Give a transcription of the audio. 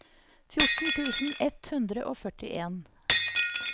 fjorten tusen ett hundre og førtien